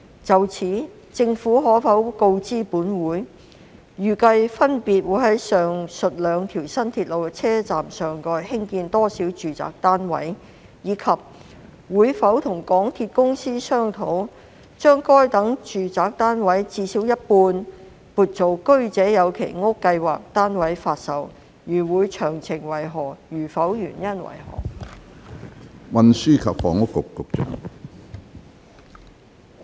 就此，政府可否告知本會：一預計分別會在上述兩條新鐵路的車站上蓋興建多少個住宅單位；及二會否與港鐵公司商討，把該等住宅單位至少一半撥作居者有其屋計劃單位發售；如會，詳情為何；如否，原因為何？